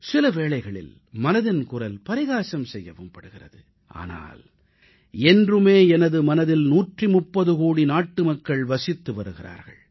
சில வேளைகளில் மனதின் குரல் பரிகாசம் செய்யவும் படுகிறது ஆனால் என்றுமே எனது மனதில் 130 கோடி நாட்டு மக்கள் வசித்து வருகிறார்கள்